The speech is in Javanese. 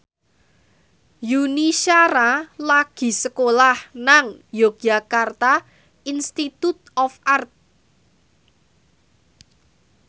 Yuni Shara lagi sekolah nang Yogyakarta Institute of Art